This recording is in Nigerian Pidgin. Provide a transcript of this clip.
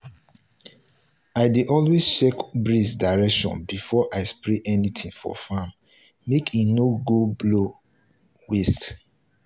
i dey always check breeze direction before i spray anything for farm make e no go blow waste.